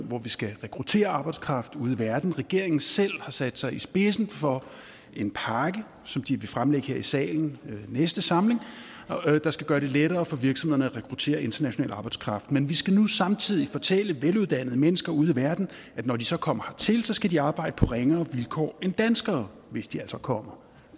hvor vi skal rekruttere arbejdskraft fra ude i verden regeringen selv har sat sig i spidsen for en pakke som de vil fremlægge her i salen i næste samling der skal gøre det lettere for virksomhederne at rekruttere international arbejdskraft men vi skal nu samtidig fortælle veluddannede mennesker ude i verden at når de så kommer hertil skal de arbejde på ringere vilkår end danskere hvis de altså kommer